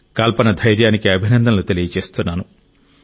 కల్పన ధైర్యానికి అభినందనలు తెలియజేస్తున్నాను